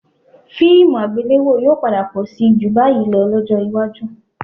Fíìmù àgbéléwò yóò padà pọ̀ síi ju báyìí lọ lọ́jọ́ iwájú